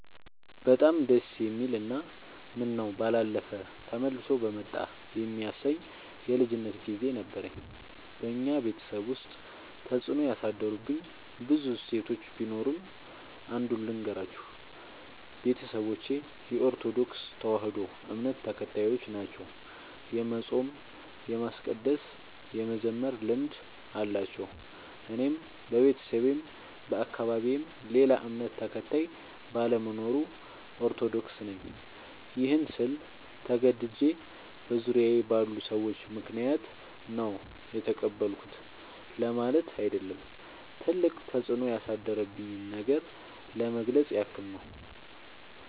በጣም ደስ የሚል እና ምነው ባላለፈ ተመልሶ በመጣ የሚያሰኝ የልጅነት ግዜ ነበረኝ። በኛ ቤተሰብ ውስጥ ተፅዕኖ ያሳደሩብኝ ብዙ እሴቶች ቢኖሩም። አንዱን ልገራችሁ፦ ቤተሰቦቼ የኦርቶዶክስ ተዋህዶ እምነት ተከታዮች ናቸው። የመፃም የማስቀደስ የመዘመር ልምድ አላቸው። እኔም በቤተሰቤም በአካባቢዬም ሌላ እምነት ተከታይ ባለመኖሩ። ኦርቶዶክስ ነኝ ይህን ስል ተገድጄ በዙሪያዬ ባሉ ሰዎች ምክንያት ነው የተቀበልኩት ለማለት አይደለም ትልቅ ተፅኖ ያሳደረብኝን ነገር ለመግለፅ ያክል ነው።